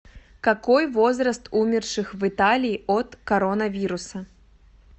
какой возраст умерших в италии от коронавируса